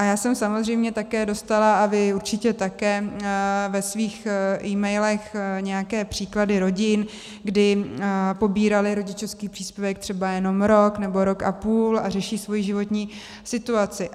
A já jsem samozřejmě také dostala, a vy určitě také ve svých emailech nějaké příklady rodin, kdy pobíraly rodičovský příspěvek třeba jenom rok nebo rok a půl a řeší svoji životní situaci.